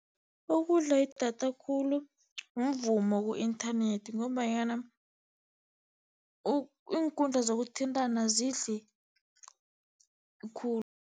Okudla idatha khulu mvumo ku-inthanethi, ngombanyana iinkundla zokuthintana azidli khulu.